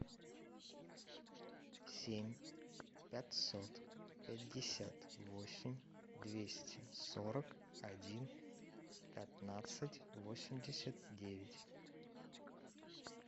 семь пятьсот пятьдесят восемь двести сорок один пятнадцать восемьдесят девять